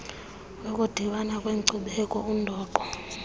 ukudibana kweenkcubeko undoqo